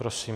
Prosím.